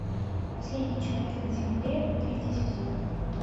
последний человек на земле третий сезон